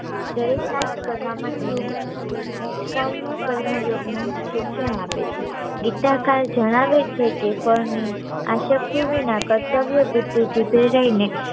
કરવા માટે ની~નીશ્કાર્ય કર્મ યોગ નું શિક્ષણ આપે છે દીત્યાકાલ જણાવે છે કે ફળ ની આ શક્તિ વિના કર્તવ્ય બુદ્ધી થી પ્રેરાઈ ને